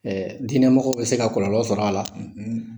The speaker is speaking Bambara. Diinɛ mɔgɔ bɛ se ka kɔlɔlɔ sɔrɔ a la;